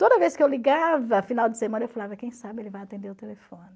Toda vez que eu ligava, final de semana, eu falava, quem sabe ele vai atender o telefone.